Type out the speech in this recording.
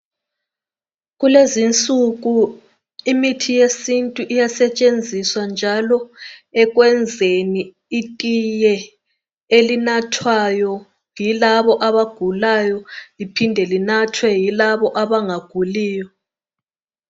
Kulezinsuku imithi yesintu iyasetshenziswa njalo ekwenzeni itiye elinathwayo yilabo abagulayo liphinde linathwe yilaba abangaguliyo